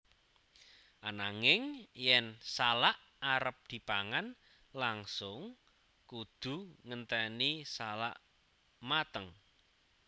Ananging yen salak arep dipangan langsung kudu ngenténi salak mateng